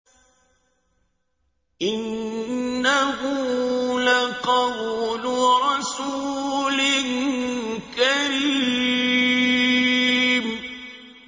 إِنَّهُ لَقَوْلُ رَسُولٍ كَرِيمٍ